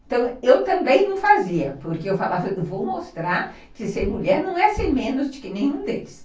Então, eu também não fazia, porque eu falava, eu vou mostrar que ser mulher não é ser menos do que nenhum deles.